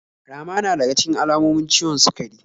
Rama na daga cikin alamomin ciwon sukari.